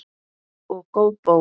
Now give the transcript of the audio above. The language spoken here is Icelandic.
Og góð bók.